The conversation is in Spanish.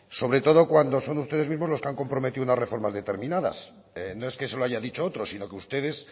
sobre todo cuando son ustedes mismos los que han comprometido unas reformas determinadas no es que se lo haya dicho otro sino que ustedes